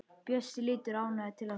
Bjössi lítur ánægður til Ásu.